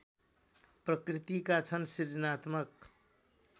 प्रकृतिका छन् सृजनात्मक